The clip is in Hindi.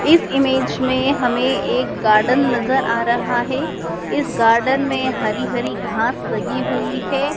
इस इमेज में हमें एक गार्डन नजर आ रहा है इस गार्डन में हरी हरी घास लगी हुई हैं।